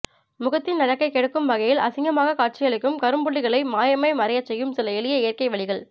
முகத்தின் அழகைக் கெடுக்கும் வகையில் அசிங்கமாக காட்சியளிக்கும் கரும்புள்ளிகளை மாயமாய் மறையச் செய்யும் சில எளிய இயற்கை வழிகள்